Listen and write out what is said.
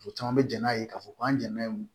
U caman bɛ jɛn n'a ye k'a fɔ k'an jɛnna o